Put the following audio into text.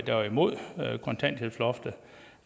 der var imod kontanthjælpsloftet